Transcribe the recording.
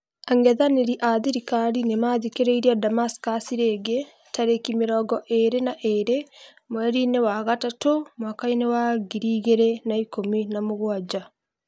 Ang'ethaniri a thirikari nĩmatharĩkĩire Damascus rĩngĩ tarĩki mĩrongo ĩrĩ na ĩrĩ mweri-inĩ wa gatatu mwaka-inĩ wa ngiri igĩrĩ na ikũmi na mũgwanja